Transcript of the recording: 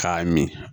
K'a min